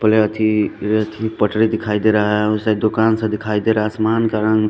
पटरी दिखाई दे रहा है उस साइड दुकान सा दिखाई दे रहा आसमान का रंग--